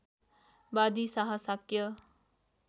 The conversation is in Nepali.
वादी शाह शाक्य